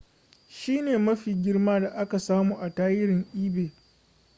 shine mafi girma da aka samu a tarihin ebay